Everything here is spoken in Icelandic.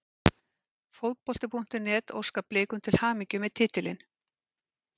Fótbolti.net óskar Blikum til hamingju með titilinn.